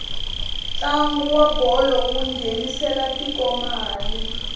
ntlangu wa bolo wu nghenisela tiko mali